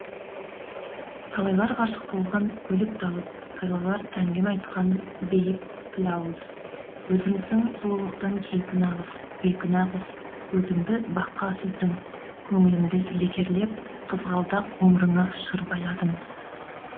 талайлар ғашық болған өліп талып талайлар әңгіме айтқан бейпілауыз өзіңсің сұлулықтың кейпі нағыз бекүнә қыз көзіңді баққа сүздің көңіліңді лекерлеп қызғалдақ ғұмырыңа шыр байладың